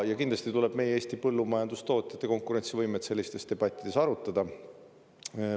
Ja kindlasti tuleb meie Eesti põllumajandustootjate konkurentsivõimet sellistes debattides arutada.